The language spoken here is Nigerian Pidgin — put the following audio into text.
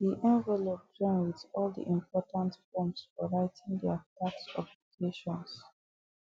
the envelope join with all the important forms for writing their tax obligations